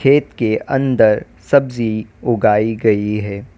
खेत के अंदर सब्जी उगाई गई है।